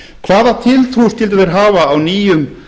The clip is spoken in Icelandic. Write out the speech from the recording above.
hvaða tiltrú skyldu þeir hafa á nýjum